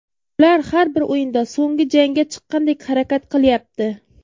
Ular har bir o‘yinda so‘nggi jangga chiqqandek harakat qilyapti.